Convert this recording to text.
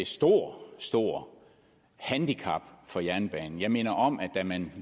stort stort handicap for jernbanen jeg minder om at da man